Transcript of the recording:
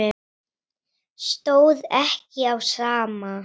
Stóð ekki á sama.